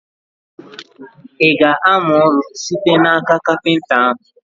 I ga-amụ ọrụ site n'aka kapịnta ahụ?